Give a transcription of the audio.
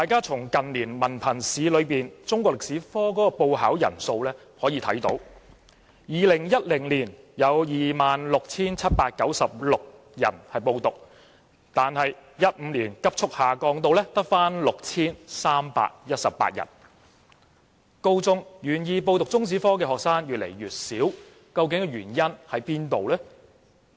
從近年文憑試中史科的報考人數可見 ，2010 年有 26,796 人報考，但2015年報考人數卻急速下降至 6,318， 在高中階段願意修讀中史科的學生越來越少，原因為何？